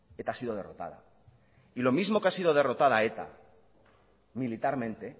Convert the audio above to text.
eta ha sido derrotada y lo mismo que ha sido derrotada eta militarmente